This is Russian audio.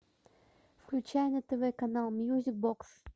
включай на тв канал мьюзик бокс